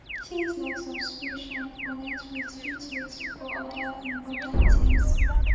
things like subscription for netflix fit wait for oda important things